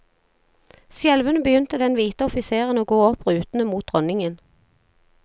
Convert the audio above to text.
Skjelvende begynte den hvite offiseren å gå opp rutene mot dronningen.